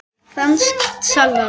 Franskt salat